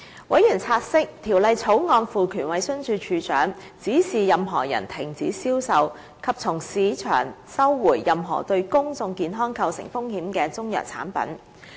委員察悉，《條例草案》賦權衞生署署長，指示任何人停止銷售，以及從市場收回任何對公眾健康構成風險的中藥產品。